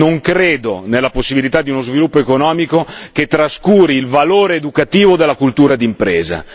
Non credo nella possibilità di uno sviluppo economico che trascuri il valore educativo della cultura d'impresa.